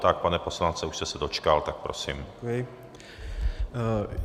Tak pane poslanče, už jste se dočkal, tak prosím.